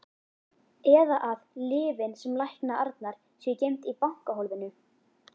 Eða að lyfin sem lækna Arnar séu geymd í bankahólfinu.